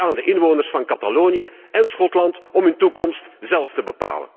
Het is aan de inwoners van Catalonië en Schotland om hun toekomst zelf te bepalen.